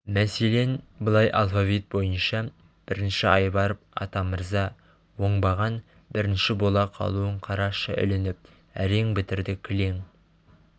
мәселен былай алфавит бойынша бірінші айбаров атамырза оңбаған бірінші бола қалуын қарашы ілініп әрең бітірді кілең